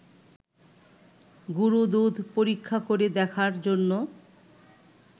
গুঁড়োদুধ পরীক্ষা করে দেখার জন্য